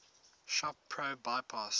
shop pro bypass